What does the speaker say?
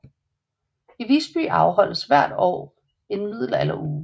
I Visby afholdes hvert år en middelalderuge